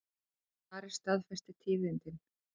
Ari staðfesti tíðindin.